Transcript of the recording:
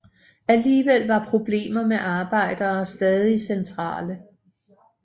Alligevel var problemer med arbejdere stadig centrale